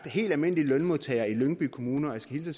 helt almindelige lønmodtagere i lyngby kommune og jeg skal hilse